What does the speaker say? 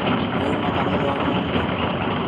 Nĩ uma kanitha ũmũthĩ?